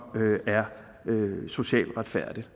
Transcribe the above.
er socialt retfærdig